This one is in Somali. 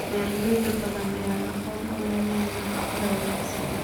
Beeraley badan ayaan aqoon u lahayn nafaqada wanaagsan.